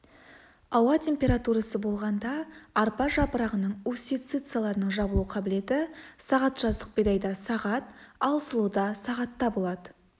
ауа температурасы болғанда арпа жапырағының устьицаларының жабылу қабілеті сағат жаздық бидайда сағат ал сұлыда сағатта болады